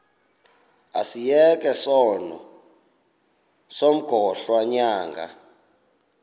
asiyeke sono smgohlwaywanga